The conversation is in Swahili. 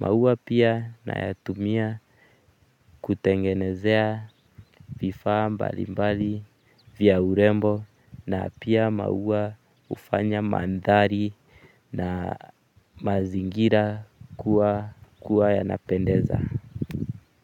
maua pia nayatumia kutengenezea vifaa mbalimbali vya urembo na pia maua hufanya mandhari na mazingira kuwa yanapendeza. Kwa hivyo.